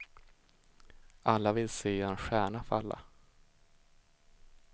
Alla vill se en stjärna falla.